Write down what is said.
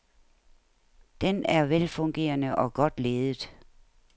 Den er velfungerende og godt ledet.